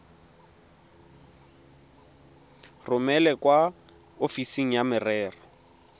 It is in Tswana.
romele kwa ofising ya merero